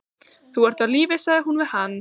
Þú ert á lífi sagði hún við hann.